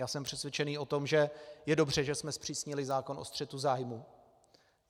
Já jsem přesvědčený o tom, že je dobře, že jsme zpřísnili zákon o střetu zájmů.